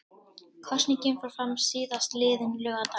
Kosningin fór fram síðastliðinn laugardag